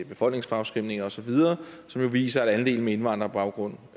befolkningsfremskrivninger osv som viser at andelen med indvandrerbaggrund